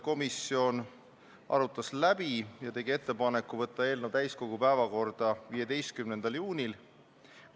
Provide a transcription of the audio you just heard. Komisjon arutas läbi ja tegi konsensusliku ettepaneku võtta eelnõu täiskogu päevakorda 15. juunil.